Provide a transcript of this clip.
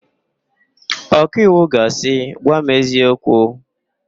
Ọkaiwu ga asị, "gwa m eziokwu"!